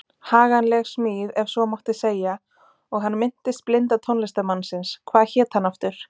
Haganleg smíð ef svo mátti segja og hann minntist blinda tónlistarmannsins- hvað hét hann aftur?